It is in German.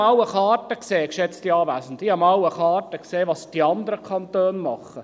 Geschätzte Anwesende, ich habe einmal eine Karte gesehen, die zeigt, was die anderen Kantone machen.